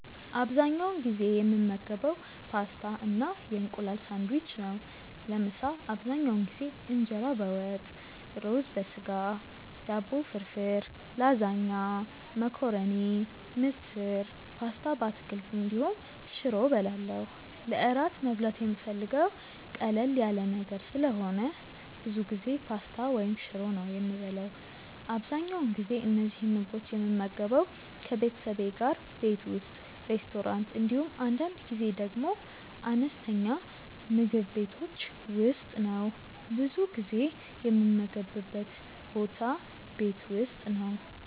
አብዛኛውን ጊዜ የምመገበው ፓስታ እና የእንቁላል ሳንድዊች ነው። ለምሳ አብዛኛውን ጊዜ እንጀራ በወጥ፣ ሩዝ በስጋ፣ ዳቦ ፍርፍር፣ ላዛኛ፣ መኮረኒ፣ ምስር፣ ፓስታ በአትክልት እንዲሁም ሽሮ እበላለሁ። ለእራት መብላት የምፈልገው ቀለል ያለ ነገር ስለሆነ ብዙ ጊዜ ፓስታ ወይም ሽሮ ነው የምበላው። አብዛኛውን ጊዜ እነዚህን ምግቦች የምመገበው ከቤተሰቤ ጋር ቤት ውስጥ፣ ሬስቶራንት እንዲሁም አንዳንድ ጊዜ ደግሞ አነስተኛ ምግብ ቤቶች ውስጥ ነው። ብዙ ጊዜ የምመገብበት ቦታ ቤት ውስጥ ነው።